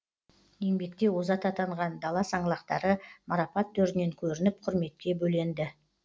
еңбекте озат атанған дала саңлақтары марапат төрінен көрініп құрметке бөленді